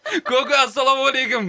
көке ассалаумағалейкем